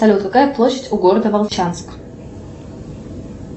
салют какая площадь у города волчанск